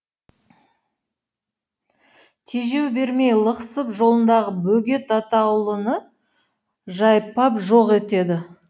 тежеу бермей лықсып жолындағы бөгет атаулыны жайпап жоқ етеді